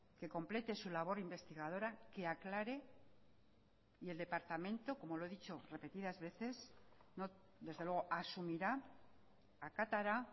que complete su labor investigadora que aclare y el departamento como lo he dicho repetidas veces desde luego asumirá acatará